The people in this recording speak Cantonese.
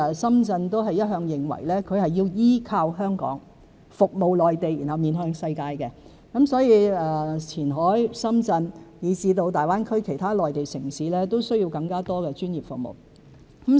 深圳一向認為前海要依托香港、服務內地、面向世界，所以前海、深圳，以至大灣區其他內地城市也需要更多專業服務人才。